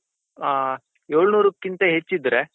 ಆ ಏಳ್ನೂರಕ್ಕಿಂತ ಹೆಚ್ಚಿದ್ರೆ.